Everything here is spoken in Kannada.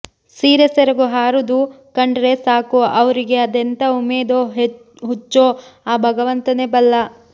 ಸೀರೆ ಸೆರಗು ಹಾರೂದು ಕಂಡ್ರೆ ಸಾಕು ಆವ್ರಿಗೆ ಅದೆಂತಾ ಉಮೇದೋ ಹುಚ್ಚೋ ಆ ಭಗವಂತನೇ ಬಲ್ಲ